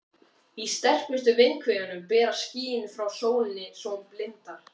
Í sterkustu vindhviðunum berast skýin frá sólinni svo hún blindar.